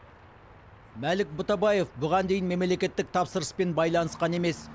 мәлік бұтабаев бұған дейін мемлекеттік тапсырыспен байланысқан емес